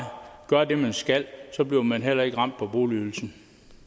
gør det man skal så bliver man heller ikke ramt på boligydelsen